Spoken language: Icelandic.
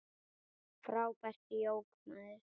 Frábært djók, maður!